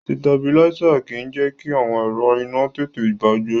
Sitabiláísà kì í jẹ́ kí àwọn ẹ̀rọ iná tètè bàjẹ́.